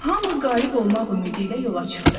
Hamı qalib olmaq ümidi ilə yola çıxdı.